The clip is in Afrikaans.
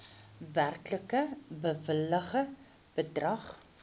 werklik bewilligde bedrag